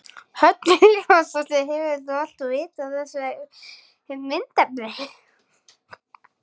Hödd Vilhjálmsdóttir: Hefur þú alltaf vitað af þessu myndefni?